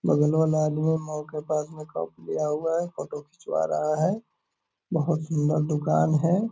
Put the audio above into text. बगल वाला आदमी फोटो खिचवा रहा है बहोत सुंदर दुकान है।